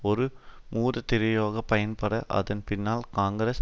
ஒரு மூடுதிரையாகப் பயன்பட அதன் பின்னால் காங்கிரஸ்